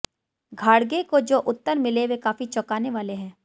घाडगे को जो उत्तर मिले वे काफी चौंकाने वाले हैं